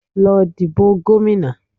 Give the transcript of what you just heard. Lọ dìbò gómìnà